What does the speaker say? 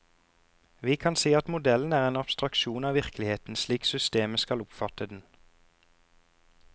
Vi kan si at modellen er en abstraksjon av virkeligheten slik systemet skal oppfatte den.